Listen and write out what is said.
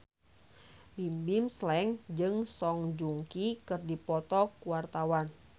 Bimbim Slank jeung Song Joong Ki keur dipoto ku wartawan